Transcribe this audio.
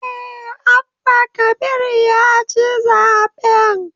Eh, Abba Kabir ya ci zaben